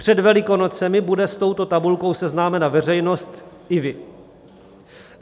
Před Velikonocemi bude s touto tabulkou seznámena veřejnost i vy.